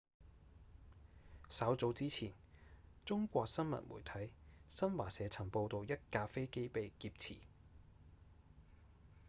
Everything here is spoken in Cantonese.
稍早之前中國新聞媒體新華社曾報導一架飛機被劫持